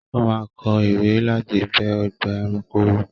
O máa kọ ìwé láti bẹ ọgbà-ẹranko wò.